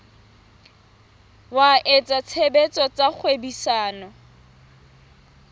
wa etsa tshebetso tsa kgwebisano